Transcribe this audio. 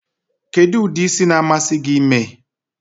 Kedu udi ịsị na-amasi gi ime?